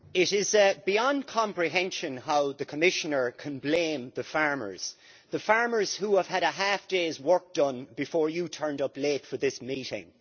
Madam President, it is beyond comprehension how the Commissioner can blame the farmers the farmers who have had a half day's work done before he turned up late for this meeting.